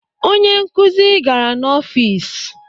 Onye nkuzi gara n'ọfịs